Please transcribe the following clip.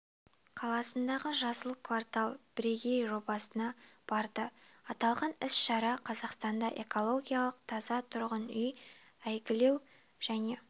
қаласындағы жасыл квартал бірегей жобасына барды аталған іс-шара қазақстанда экологиялық таза тұрғын үй әйгілеу және